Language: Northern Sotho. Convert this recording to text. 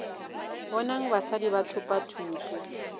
bonang basadi ba thopa thuto